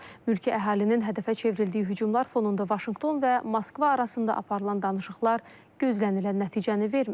Mülki əhalinin hədəfə çevrildiyi hücumlar fonunda Vaşinqton və Moskva arasında aparılan danışıqlar gözlənilən nəticəni vermir.